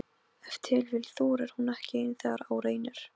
Stundum vaknaði konan við að maðurinn hrópaði upp úr svefni: